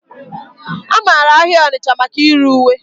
A mara ahịa Onitcha maka ire uwe.